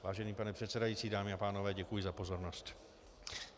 Vážený pane předsedající, dámy a pánové, děkuji za pozornost.